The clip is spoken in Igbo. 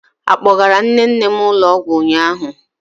Ị kpọgara nne nne m ụlọ ọgwụ ụnyaahụ?